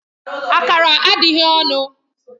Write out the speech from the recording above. Akara adịghị ọnụ